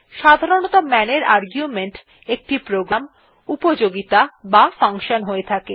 সাধারণতঃ man এর argument একটি প্রোগ্রাম উপযোগীতা বা ফাঙ্কশন হয়ে থাকে